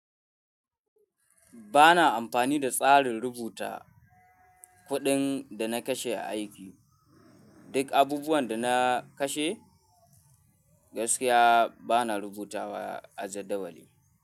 Ba na amfani da tsarin rubuta kuɗin da na kashe a aiki. Duk abubuwan da na kashe gaskiya ba na rubuta wa a jadawali.